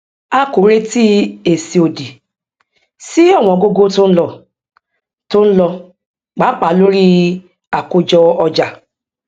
a kò retí èsì òdì sí ọwọngógó tó ń lo tó ń lo pàápàá lórí àkójọọjà